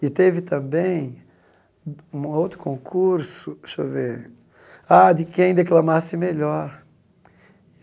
E teve também uma outro concurso, deixa eu ver ah de quem declamasse melhor.